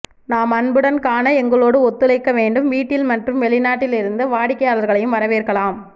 நாம் அன்புடன் க்கான எங்களோடு ஒத்துழைக்க வேண்டும் வீட்டில் மற்றும் வெளிநாட்டில் இருந்து வாடிக்கையாளர்களையும் வரவேற்கலாம்